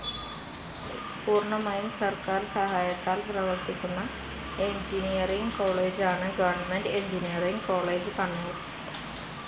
പൂർണമായും സർക്കാർ സഹായത്താൽ പ്രവർത്തിക്കുന്ന എൻജിനീയറിങ്‌ കോളേജാണ് ഗവർണ്മെന്റ്‌ എൻജിനീയറിങ്‌ കോളേജ്‌ കണ്ണൂർ.